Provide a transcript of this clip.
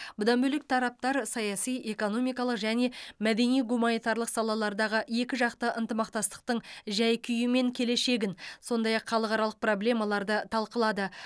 бұдан бөлек тараптар саяси экономикалық және мәдени гуманитарлық салалардағы екіжақты ынтымақтастықтың жай күйі мен келешегін сондай ақ халықаралық проблемаларды талқылады